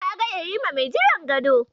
Ka ga yarima mai jiran gadon?